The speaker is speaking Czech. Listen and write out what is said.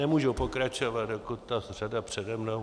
Nemůžu pokračovat, dokud ta řada přede mnou...